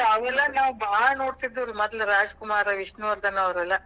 ಅಯ್ಯ್ ಅವೆಲ್ಲಾ ನಾವ್ ಬಾಳ್ ನೋಡ್ತಿದ್ವಿರಿ ಮೊದಲ್ ರಾಜಕುಮಾರ, ವಿಷ್ಣುವರ್ಧನ ಅವ್ರಲ್ಲಾ.